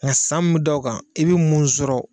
san mun mɛ da o kan i bɛ mun sɔrɔ.